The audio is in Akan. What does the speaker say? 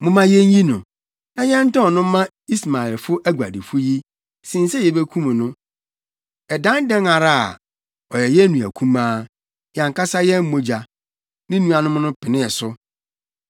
Momma yenyi no, na yɛntɔn no mma Ismaelfo aguadifo yi, sen sɛ yebekum no. Ɛdan dɛn ara a, ɔyɛ yɛn nua kumaa, yɛn ankasa yɛn mogya.” Ne nuanom no penee so.